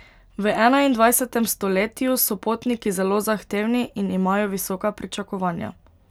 V enaindvajsetem stoletju so potniki zelo zahtevni in imajo visoka pričakovanja.